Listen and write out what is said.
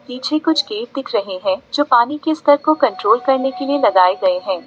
पीछे कुछ गेट दिख रहे हैं जो पानी के स्तर को कंट्रोल करने के लिए लगाए गए हैं।